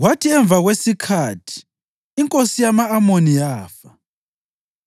Kwathi emva kwesikhathi, inkosi yama-Amoni yafa,